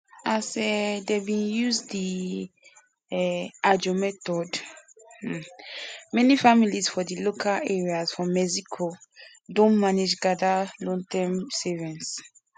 as um dem begin use di um ajo method um many families for di local areas for mexico don manage gather lonterm savings